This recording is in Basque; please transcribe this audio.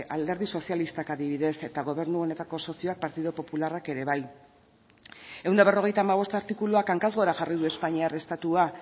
alderdi sozialistak adibidez eta gobernu honetako sozioak partidu popularrak ere bai ehun eta berrogeita hamabost artikuluak hankaz gora jarri du espainiar estatua